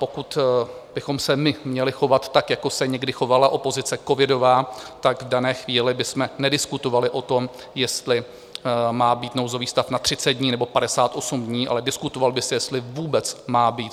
Pokud bychom se my měli chovat tak, jako se někdy chovala opozice covidová, tak v dané chvíli bychom nediskutovali o tom, jestli má být nouzový stav na 30 dní, nebo 58 dní, ale diskutovalo by se, jestli vůbec má být.